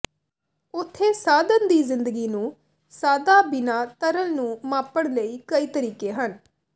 ਉੱਥੇ ਸਾਧਨ ਦੀ ਜ਼ਿੰਦਗੀ ਨੂੰ ਸਾਦਾ ਬਿਨਾ ਤਰਲ ਨੂੰ ਮਾਪਣ ਲਈ ਕਈ ਤਰੀਕੇ ਹਨ